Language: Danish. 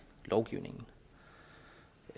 lovgivningen